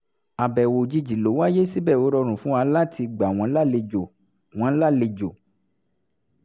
àbẹ̀wò òjìjì ló wáyé síbẹ̀ ó rọrùn fún wa láti gbà wọ́n lálejọ̀ wọ́n lálejọ̀